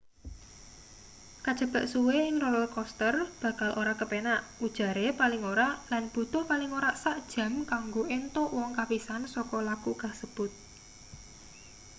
kajebak suwe ing roller coaster bakal ora kepenak ujare paling ora lan butuh paling ora sak jam kanggo entuk wong kapisan saka laku kasebut